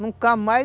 Nunca mais.